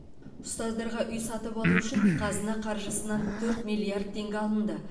ұстаздарға үй сатып алу үшін қазына қаржысынан төрт миллиард теңгеге алынды